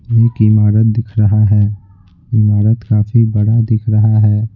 एक इमारत दिख रहा है इमारत काफी बड़ा दिख रहा है।